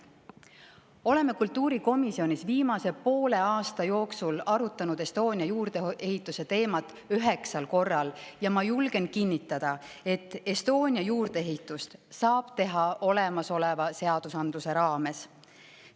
Oleme kultuurikomisjonis viimase poole aasta jooksul arutanud Estonia juurdeehitise teemat üheksal korral ja ma julgen kinnitada, et Estonia juurdeehitist saab teha olemasoleva seadusandluse raames.